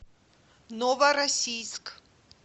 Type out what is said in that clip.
новороссийск